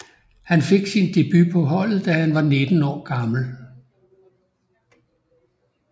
Han fik sin debut på holdet da han var 19 år gammel